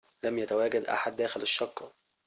لم يتواجد أحد داخل الشقة